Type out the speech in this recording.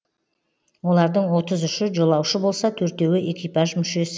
олардың отыз үші жолаушы болса төртеуі экипаж мүшесі